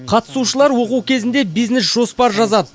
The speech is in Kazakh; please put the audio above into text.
қатысушылар оқу кезінде бизнес жоспар жазады